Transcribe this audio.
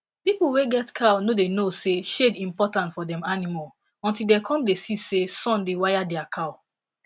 people wey get cow no da know say shade important for dem animal until dem come da see say sun da waya dia cow